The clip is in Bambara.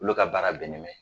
Olu ka baara bɛnnen bɛ